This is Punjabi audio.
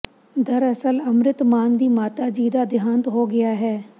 ਦਰਅਸਲ ਅੰਮ੍ਰਿਤ ਮਾਨ ਦੀ ਮਾਤਾ ਜੀ ਦਾ ਦਿਹਾਂਤ ਹੋ ਗਿਆ ਹੈ